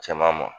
Cɛman ma